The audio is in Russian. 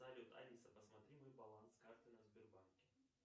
салют алиса посмотри мой баланс карты на сбербанке